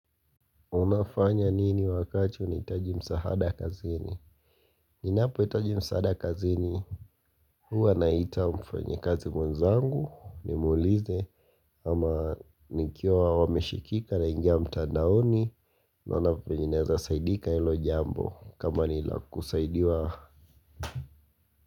Unafanya nini wakachi unihitaji msahada kazini? Ninapohitaji msaada kazini, huwa naita mfanyikazi mwenzangu, nimuulize, ama nikiwa wameshikika naingia mtandaoni, naona venye naeza saidika ilo jambo, kama ni lakusaidiwa.